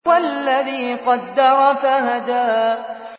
وَالَّذِي قَدَّرَ فَهَدَىٰ